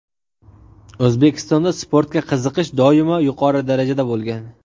O‘zbekistonda sportga qiziqish doimo yuqori darajada bo‘lgan.